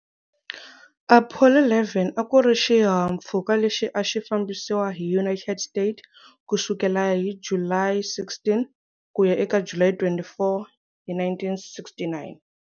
Apollo 11 a ku ri xihahampfhuka lexi a xi fambisiwa hi United States ku sukela hi July 16 ku ya eka July 24, 1969.